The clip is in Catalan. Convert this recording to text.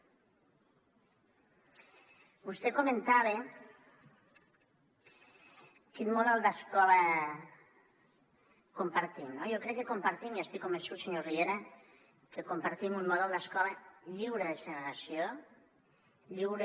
vostè comentava quin model d’escola compartim no jo crec que compartim i n’estic convençut senyor riera un model d’escola lliure de segregació lliure